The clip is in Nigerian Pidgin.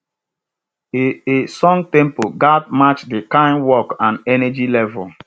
a a song tempo ghats match de kyn work and energy level